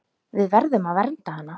Við verðum að vernda hana.